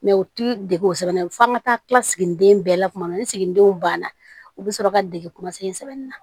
u ti dege o sɛbɛn na f'an ka taa siginiden bɛɛ la kuma min ni siginidenw banna u bɛ sɔrɔ ka dege sɛbɛnni na